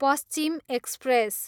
Paschim express